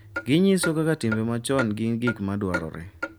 Ginyiso kaka timbe machon gin gik ma dwarore,